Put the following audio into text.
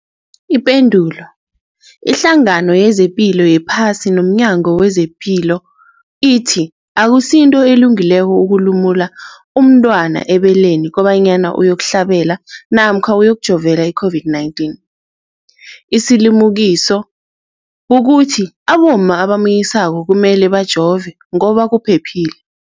Ipendulo, iHlangano yezePilo yePhasi nomNyango wezePilo ithi akusinto elungileko ukulumula umntwana ebeleni kobanyana uyokuhlabela namkha uyokujovela i-COVID-19. Isilimukiso kukuthi abomma abamunyisako kumele bajove ngoba kuphephile.